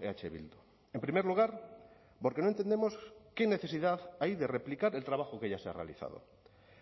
eh bildu en primer lugar porque no entendemos qué necesidad hay de replicar el trabajo que ya se ha realizado